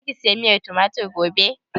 Za ki saya miyar tumatir gobe?